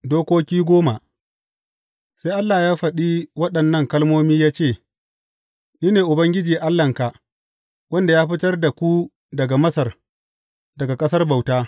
Dokoki goma Sai Allah ya faɗi waɗannan kalmomi ya ce, Ni ne Ubangiji Allahnka, wanda ya fitar da ku daga Masar, daga ƙasar bauta.